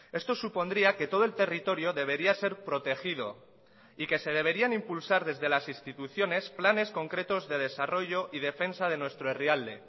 esto supondría que todo el territorio debería ser protegido y que se deberían impulsar desde las instituciones planes concretos de desarrollo y defensa de nuestro herrialde